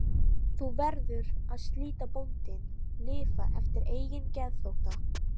Ég veit af hverju þú hafnaðir mér.